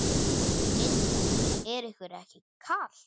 Linda: Er ykkur ekki kalt?